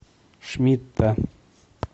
шмидта